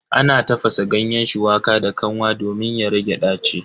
Ana tafasa ganyen shuwaka da kanwa domin ya rage ɗaci.